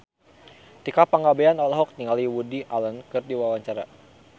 Tika Pangabean olohok ningali Woody Allen keur diwawancara